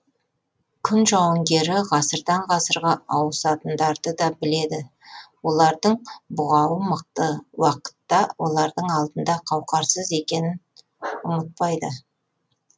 күн жауынгері ғасырдан ғасырға ауысатындарды да біледі олардың бұғауы мықты уақытта олардың алдында қауқарсыз екенін ұмытпайды